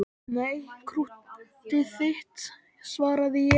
Nei, krúttið þitt, svaraði ég.